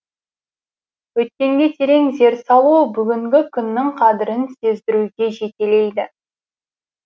өткенге терең зер салу бүгінгі күннің қадірін сездіруге жетелейді